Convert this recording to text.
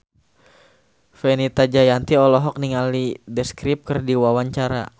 Fenita Jayanti olohok ningali The Script keur diwawancara